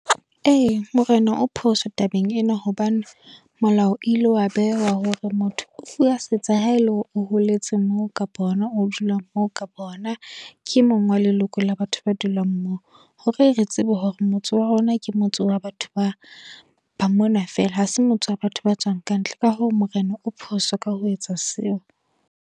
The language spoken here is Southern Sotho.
Ee, Morena o phoso tabeng ena. Hobane, molao ile wa bewa hore motho o fuwa setsha ha ele hore o holetse moo, kapo hona o dulang moo, kapa hona ke e mong wa leloko la batho ba dulang moo. Hore re tsebe hore motse wa rona ke motse wa batho ba dulang mona fela. Ha se motse wa batho ba tswang kantle. Ka hoo Morena o phoso ka ho etsa seo.